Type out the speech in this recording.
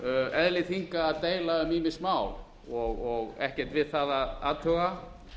eðli þinga að deila um ýmis mál og ekkert við það að athuga